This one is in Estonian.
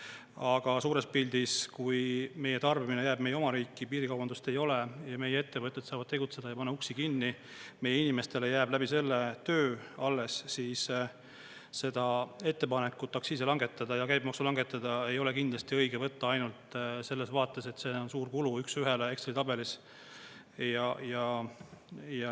Aga suures pildis, kui meie tarbimine jääb meie oma riiki, piirikaubandust ei ole ja meie ettevõtted saavad tegutseda ja ei pane uksi kinni, meie inimestele jääb läbi selle töö alles, siis seda ettepanekut aktsiise langetada ja käibemaksu langetada ei ole kindlasti õige võtta ainult selles vaates, et see on suur kulu üksühele Exceli tabelis.